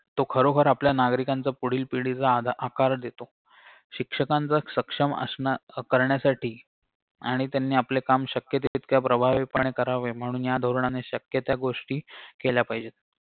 तो खरोखर आपल्या नागरिकांचा पुढील पिढीचा आधा आकार देतो शिक्षकांचं सक्षम असणं करण्यासाठी आणि त्यांनी आपले काम शक्य तितक्या प्रभावितपणे करावे म्ह्णून या धोरणाने शक्य त्या गोष्टी केल्या पाहिजेत